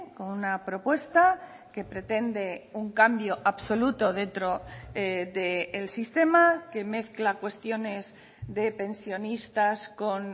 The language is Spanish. con una propuesta que pretende un cambio absoluto dentro del sistema que mezcla cuestiones de pensionistas con